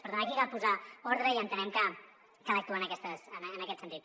per tant aquí cal posar ordre i en·tenem que cal actuar en aquest sentit